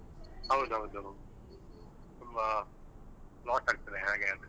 ಹೌದೌದು ತುಂಬಾ loss ಆಗ್ತದೆ ಹಾಗೆ ಆದ್ರೆ.